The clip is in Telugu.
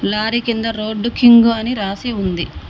లారీ కింద రోడ్డు కింగు అని రాసి ఉంది.